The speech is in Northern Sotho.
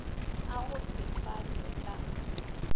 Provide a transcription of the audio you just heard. a go se fanwe ka